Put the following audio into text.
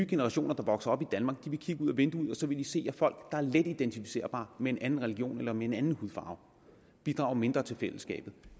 generationer der vokser op i danmark kigge ud ad vinduet og så vil de se at folk der er let identificerbare med en anden religion eller med en anden hudfarve bidrager mindre til fællesskabet